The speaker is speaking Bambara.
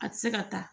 A tɛ se ka taa